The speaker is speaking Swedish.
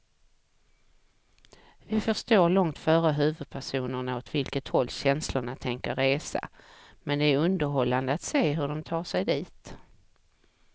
Vi förstår långt före huvudpersonerna åt vilket håll känslorna tänker resa, men det är underhållande att se hur de tar sig dit.